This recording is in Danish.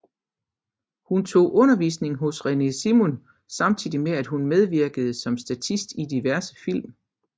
Hun tog undervisning hos René Simon samtidig med at hun medvirkede som statist i diverse film